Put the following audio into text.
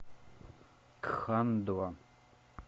кхандва